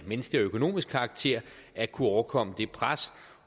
menneskelig og økonomisk karakter at kunne overkomme det pres